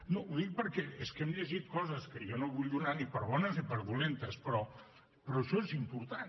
no ho dic perquè és que hem llegit coses que jo no vull donar ni per bones ni per dolentes però això és important